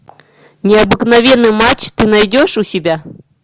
необыкновенный матч ты найдешь у себя